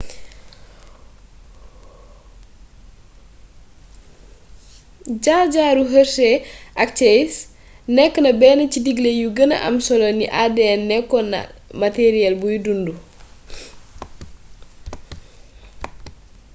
jaar-jaaru hershey ak chase nekk na benn ci digle yu gëna am solo ni adn nekkoon na matariyeel buy dundu